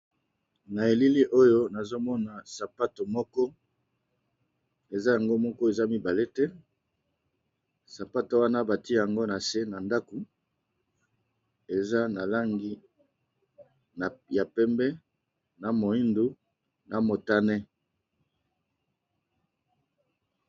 Na elili oyo nazomona sapato moko eza moko eza na langi pembe, moyindo na motane.